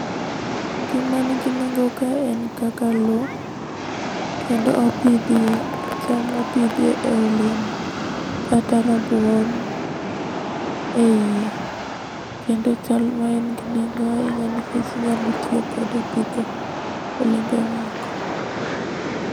Gima nigi nengo kae en kaka loo. Kendo opidhie chal mopidhie olemo kata rabuon eiye. Kendo chal maen gi nengo ahinya nikech inyalo tiyo kode e pidho olembe moko.